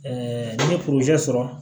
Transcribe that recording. n'i ye sɔrɔ